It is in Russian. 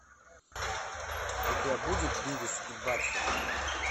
у тебя будет бивис и батхед